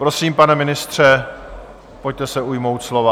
Prosím, pane ministře, pojďte se ujmout slova.